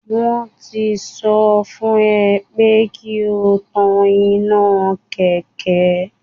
Wọ́n tí sọ fún ẹ pé kí o tán iná Kẹ̀kẹ́